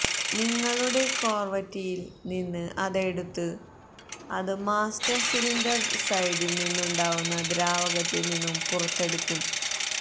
നിങ്ങളുടെ കോർവറ്റിയിൽ നിന്ന് അത് എടുത്ത് അത് മാസ്റ്റർ സിലിണ്ടർ സൈഡിൽ നിന്നുണ്ടാവുന്ന ദ്രാവകത്തിൽ നിന്നും പുറത്തെടുക്കും